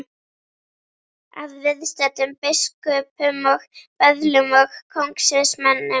Að viðstöddum biskupum og böðlum og kóngsins mönnum.